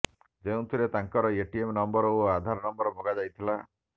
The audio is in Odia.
ଯେଉଁଥିରେ ତାଙ୍କର ଏଟିଏମ୍ ନମ୍ବର ଓ ଆଧାର ନମ୍ବର ମଗାଯାଇଥିଲା